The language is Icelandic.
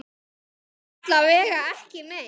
Alla vega ekki meir.